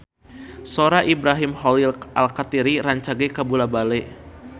Sora Ibrahim Khalil Alkatiri rancage kabula-bale